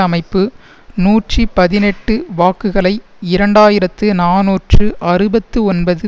அமைப்பு நூற்றி பதினெட்டு வாக்குகளை இரண்டாயிரத்து நாநூற்று அறுபத்து ஒன்பது